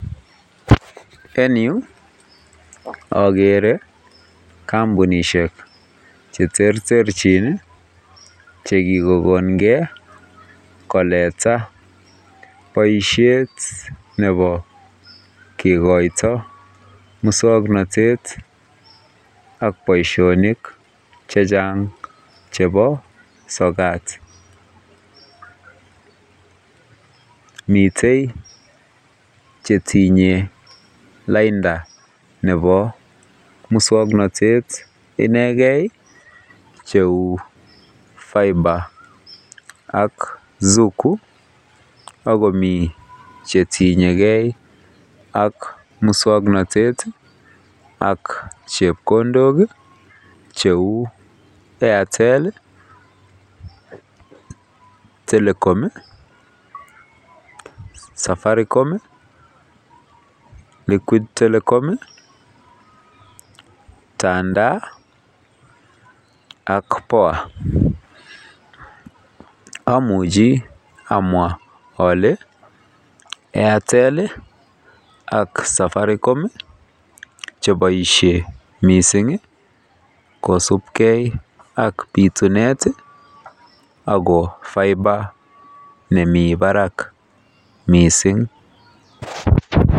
Eng yuu ogere kambunisiek cheterterjin iih chekikokongen koleta boisiet nebo kikoito muswoknotet ak boisionik chechang chebo sokat. Mitei chetinye lainda nebo muswoknotet inegen cheu [phipher] ak [zuku] ak komi chetinyegen ak muswoknotet ak chepkondok cheu [Airtel], [Telkom], [safaricom] iih [requit Telekom] iih [tandaa] iih ak [poa] amuchi amwa ole [Airtel] ak [safaricom] cheboisie mising kosibgen ak bitunet iih ago [phipher] nemi barak mising.